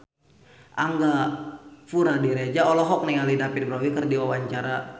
Angga Puradiredja olohok ningali David Bowie keur diwawancara